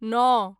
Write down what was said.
नओ